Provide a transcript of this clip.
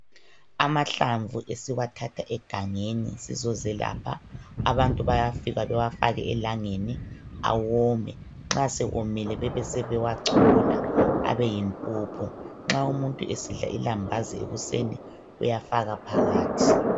Amahlamvu esiwathatha egangeni sizozelapha abantu bayafika bewafake elangeni awome. Nxa esewomile bee seebewachola abe yimpuphu. Nxa umuntu esidla ilambazi ekuseni uyafaka phakathi.